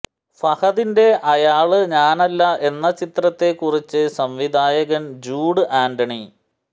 ഫഹദിന്റെ അയാള് ഞാനല്ല എന്ന ചിത്രത്തെ കുറിച്ച് സംവിധായകന് ജൂഡ് ആന്റണി